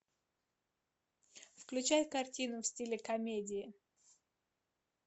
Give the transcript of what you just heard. включай картину в стиле комедии